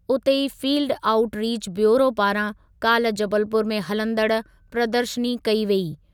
उते ई field outreach bureau पारां काल्ह जबलपुर में हलंदड़ प्रदर्शनी कई वेई।